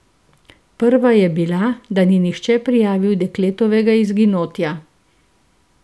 Prva je bila, da ni nihče prijavil dekletovega izginotja.